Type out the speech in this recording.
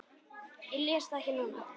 Ég les það ekki núna.